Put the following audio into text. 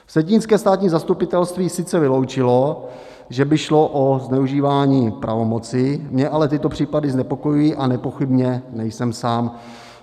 Vsetínské státní zastupitelství sice vyloučilo, že by šlo o zneužívání pravomoci, mě ale tyto případy znepokojují a nepochybně nejsem sám.